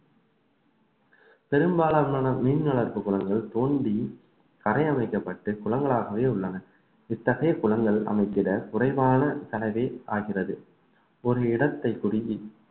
பெரும்பாலான மீன் வளர்ப்பு குளங்கள் தோண்டி கரைய வைக்கப்பட்டு குளங்களாகவே உள்ளன இத்தகைய குளங்கள் அமைத்திட குறைவான செலவே ஆகிறது ஒரு இடத்தை பிடுங்கி